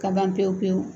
Ka ban pewu pewu